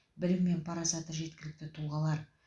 білім мен парасаты жеткілікті тұлғалар